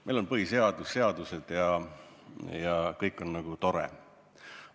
Meil on põhiseadus, seadused ja kõik on nagu tore.